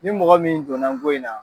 Ni mɔgɔ min donna ngo in na